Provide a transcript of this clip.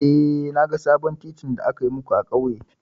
Eh, na ga sabon titin da aka yi muku a ƙauye.